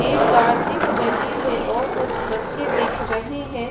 एक गाय दिख रही है और कुछ बच्चे दिख रहे है।